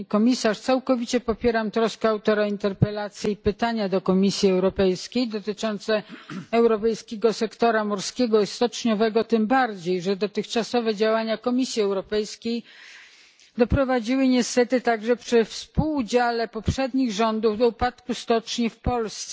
Pani Komisarz! Całkowicie popieram troskę autora interpelacji i pytania do Komisji Europejskiej dotyczące europejskiego sektora morskiego i stoczniowego, tym bardziej że dotychczasowe działania Komisji Europejskiej doprowadziły niestety także przy współudziale poprzednich rządów do upadku stoczni w Polsce.